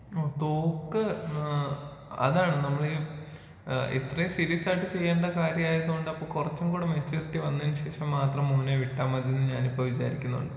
ആഹ് തോക്ക് ഏഹ് അതാണ് നമ്മളീ ഏഹ് ഇത്രേം സീരിയസ് ആയിട്ട് ചെയ്യേണ്ട കാര്യായതോണ്ടാ ഇപ്പൊ കൊറച്ചും കൂടെ മെച്ചൂരിറ്റി വന്നതിന് ശേഷം മാത്രം മോനെ വിട്ടാ മതി എന്ന് ഞാനിപ്പൊ വിചാരിക്കുന്നത്.